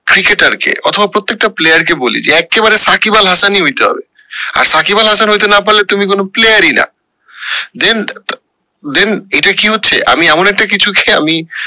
cricketer কে অথবা প্রত্যেকটা player কে বলি যে এক্কেবারে সাকিব আল হাসান ই হইতে হবে আর সাকিব আল হাসান হইতে না পারলে তুমি কোনো player ই না then then এটা কি হচ্ছে আমি এমন একটা কিছু কে আমি